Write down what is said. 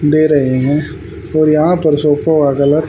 दे रहे हैं और यहां पर सोफों का गलत --